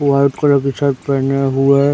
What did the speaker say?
white colour की shirt पहने हुए --